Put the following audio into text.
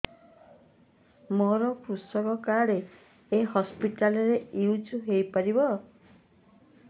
ମୋର କୃଷକ କାର୍ଡ ଏ ହସପିଟାଲ ରେ ୟୁଜ଼ ହୋଇପାରିବ